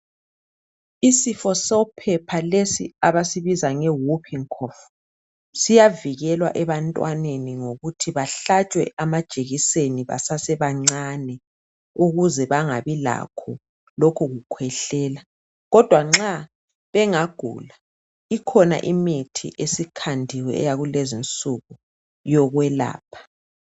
Isifo sophepha lesi abasibiza nge whoopin cough siyavikelwa ebantwaneni ngokuthi bahlatshwe amajekiseni basasebancani ukuze bangabi lakho lokhu kukhwehlela kodwa nxa bengagula ikhona imithi esikhandiwe yakulezi nsuku yokwelapha.